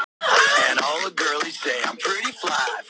Veist að þú átt eftir að sitja hérna í þrjár stundir enn.